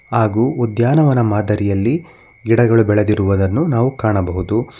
ಹಾಗೂ ಉದ್ಯಾನವನ ಮಾದರಿಯಲ್ಲಿ ಗಿಡಗಳು ಬೆಳೆದಿರುವುದನ್ನು ನಾವು ಕಾಣಬಹುದು.